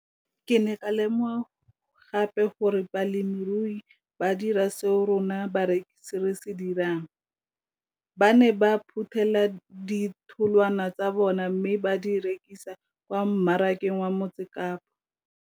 Ke ne ka lemoga gape gore balemirui ba dira seo rona barekisi re se dirang - ba ne ba phuthela ditholwana tsa bona mme ba di rekisa kwa marakeng wa Motsekapa.